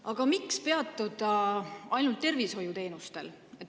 Aga miks peatuda ainult tervishoiuteenustel?